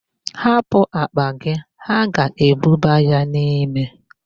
Hapụ akpa gị, ha ga-ebuba ya n'ime.